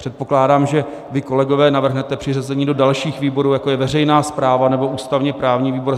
Předpokládám, že vy, kolegové, navrhnete přiřazení do dalších výborů, jako je veřejná správa nebo ústavně-právní výbor.